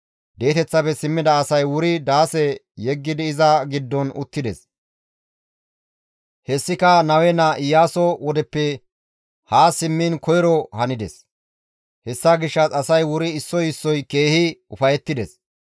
Di7eteththafe simmida asay wuri daase yeggidi iza giddon uttides; hessika Nawe naa Iyaaso wodeppe ha simmiin koyro hanides; hessa gishshas asay wuri issoy issoy keehi ufayettides.